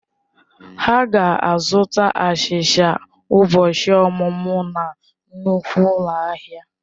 Ha ga-azụta achicha ụbọchị ọmụmụ na nnukwu ụlọ ahịa.